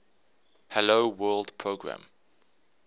hello world program